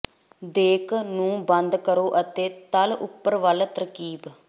ਦੇਕ ਨੂੰ ਬੰਦ ਕਰੋ ਅਤੇ ਤਲ ਉਪਰ ਵੱਲ ਤਰਕੀਬ